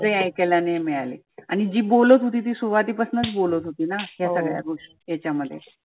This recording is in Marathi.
ऐकायला नाही मिळाला आणि जी बोलत होती ती सुरुवातीपासनच बोलत होतीना. या सगळा याच्यामध्ये.